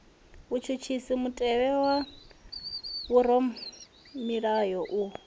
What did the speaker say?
vhutshutshisi mutevhe wa vhoramilayo u